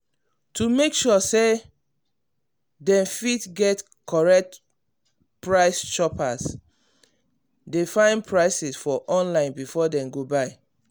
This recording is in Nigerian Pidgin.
to make sure say dem fit get correct price shoppers dey find prices for online before dem go buy.